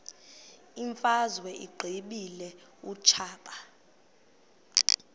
imfazwe uyiqibile utshaba